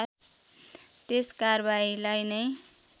त्यस कारबाहीलाई नै